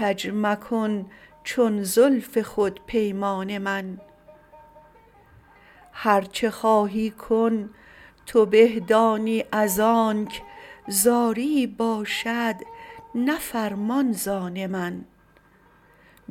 کج مکن چون زلف خود پیمان من هرچه خواهی کن تو به دانی از آنک زاریی باشد نه فرمان زان من